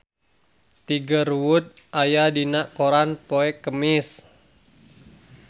Tiger Wood aya dina koran poe Kemis